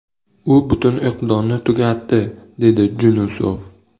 U butun o‘qdonni tugatdi”, dedi Junusov.